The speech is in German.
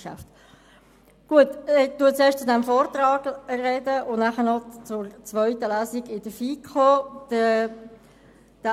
Ich spreche zunächst zum Vortrag und danach zur zweiten Lesung in der FiKo.